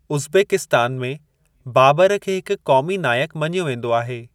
Uzbekistan में बाबर खे हिकु क़ौमी नायकु मञियो वेंदो आहे।